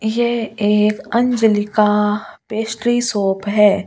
ये एक अंजली का पेस्ट्री शोप है।